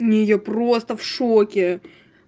не я просто в шоке